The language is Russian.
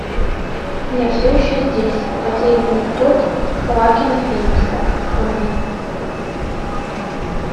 я все еще здесь потерянный год хоакина феникса открой мне